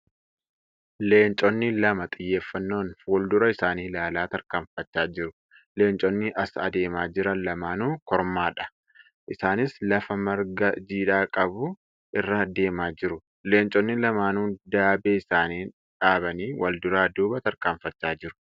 Leencoonni lama xiyyeeffaannoon fuuldura isaanii ilaalaa tarkaanfachaa jiru. Leenconni as adeemaa jiran lamaanuu kormaadha. Isaaniis lafa marga jiidhaa qsbu irra deemaa jiru. Leenconni lamaanuu daabee isaanii dhaabanii walduraa duuba tarkaanfachaa jiru.